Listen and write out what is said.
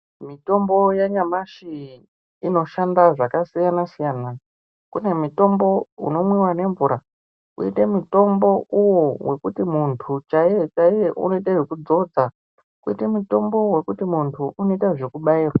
Mitombo yanyamashi inoshanda zvakasiyana nenjira. Kune mutombo unomwiwa nemvura koita mutombo uno wekuti muntu chaiye chaiye unoita zvekudzodza. Kwoita mutombo wekuti muntu unoita zvekubairwa.